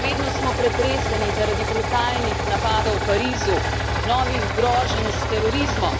Še vedno smo pretreseni zaradi brutalnih napadov v Parizu, novih groženj s terorizmom.